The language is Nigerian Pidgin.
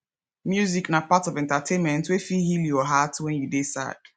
music na part of entertainment wey fit heal your heart wen you dey sad